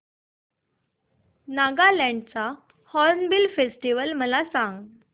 नागालँड चा Hornbill Festival मला सांग